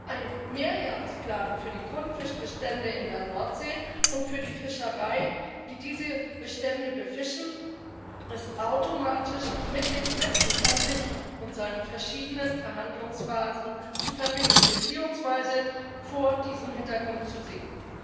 Ein Mehrjahresplan für die Grundfischbestände in der Nordsee und für die Fischereien, die diese Bestände befischen, ist automatisch mit dem Brexit an sich und seinen verschiedenen Verhandlungsphasen zu verbinden beziehungsweise vor diesem Hintergrund zu sehen.